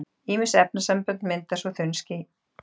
Ýmis efnasambönd mynda svo þunn háský.